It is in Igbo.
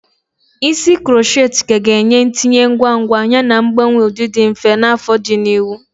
Isi krokhet ka ga-enye ntinye ngwa ngwa yana mgbanwe ụdị dị mfe na afo di n'ihu.